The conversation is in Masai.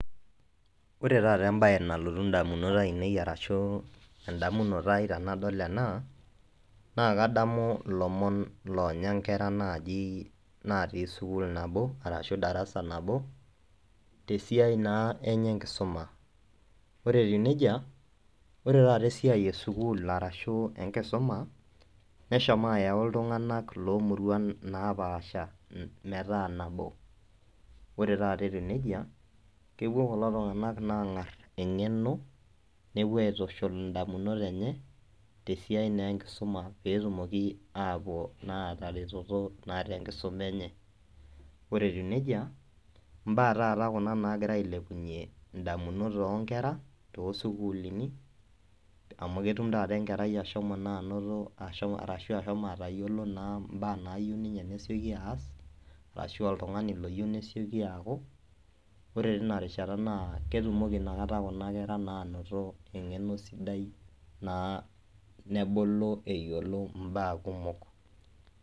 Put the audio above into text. Ore taa embae nalotu ndamunot ainei ashu ndamunot ai tenadol ena kadamu ilomon oonya inkera natii sukuul nabo ashuu darasa nabo tesia naa enye enkisuma. Orw etiu nejia ore taa esiai e sukuul arashu enkisuma neshomo ayau iltunganak loomuruan naapasha metaa nabo. Ore taata etiu nejia kebuo kulo tunganak aangar engeno nabo nepuo aitushul indamunot enye esiai naa enkisuma peetumoki aataretoto tesiai enkisuma enye. Ore etiu nejia, imbaa taata kuna naagira ailebunyie indamunot oonkera too sukuul amu ketum enkerai taata anoto ashomo ashu atayiolo imbaa naayieu nelotuaas ashua oltungani oyieu nelotu aaku. Ore tena rishata naa ketumoki kuna kera aanoto engeno sidai naa nebulu eyiolo imbaa kumok